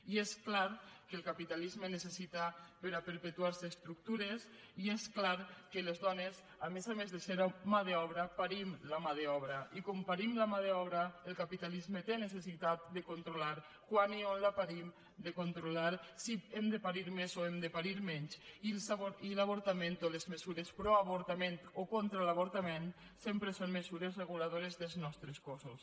i és clar que el capitalisme necessita per a perpe tuarse estructures i és clar que les dones a més a més de ser mà d’obra parim la mà d’obra i com parim la mà d’obra el capitalisme té necessitat de controlar quan i on la parim de controlar si hem de parir més o hem de parir menys i l’avortament o les mesures proavortament o contra l’avortament sempre són mesures reguladores dels nostres cossos